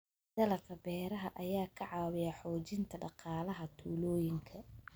Dalagga beeraha ayaa ka caawiya xoojinta dhaqaalaha tuulooyinka.